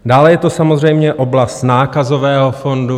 Dále je to samozřejmě oblast Nákazového fondu.